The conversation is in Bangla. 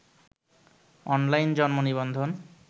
অনলাইন জন্ম নিবন্ধন